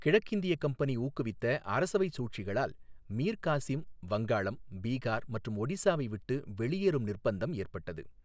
கிழக்கிந்திய கம்பெனி ஊக்குவித்த அரசவைச் சூழ்ச்சிகளால் மீர் காசிம் வங்காளம், பீகார் மற்றும் ஒடிசாவை விட்டு வெளியேறும் நிர்ப்பந்தம் ஏற்பட்டது.